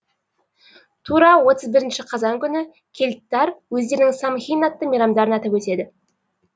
тура отыз бір қазан күні кельттар өздерінің самхэйн атты мейрамдарын атап өтеді